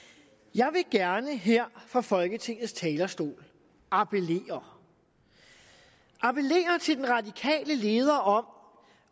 jeg vil gerne her fra folketingets talerstol appellere appellere til den radikale leder om